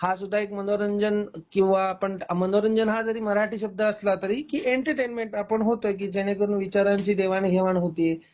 हा सुद्धा मनोरंजन किंवा आपण मनोरंजन हा जरी मराठी शब्द असला तरी की एंटरटेनमेंट आपण होतय की जेणेकरून विचारांची देवाणघेवाण होतीय